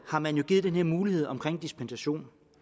har man jo givet den her mulighed om dispensation